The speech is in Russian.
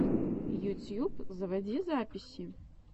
ютьюб заводи записи